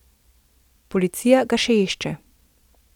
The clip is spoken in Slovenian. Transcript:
Policija ga še išče.